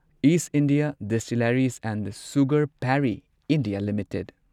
ꯢꯁ India distilleries and sugar Parry India limited